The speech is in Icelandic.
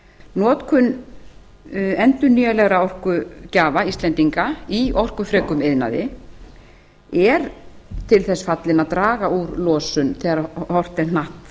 notkun endurnýjanlegra orkugjafa íslendinga í orkufrekum iðnaði er til þess fallin að draga úr losun þegar horft